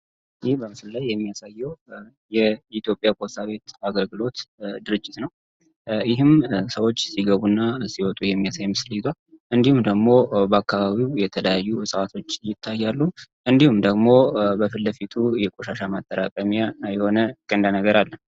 ይህም በምስል ላይ የሚያሳየው የኢትዮጵያ ፖሳ ቤት አገርግሎት ድርጅት ነው ይህም ሰዎች ሲገቡ እና ሲይወጡ የሚያሳይ ምስል ይዛ እንዲሁም ደግሞ በአካባቢው የተዳያዩ ሰዋቶች ይታያሉ እንዲሁም ደግሞ በፍለፊቱ የቆሻሻ ማጠራቀሚያ የሆነ ነገር ነው።